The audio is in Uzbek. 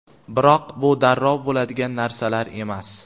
Biroq bu darrov bo‘ladigan narsalar emas.